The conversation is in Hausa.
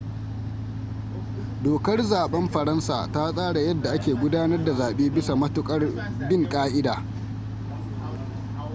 dokar zaɓen faransa ta tsara yadda ake gudanar da zaɓe bisa matuƙar bin ƙa'ida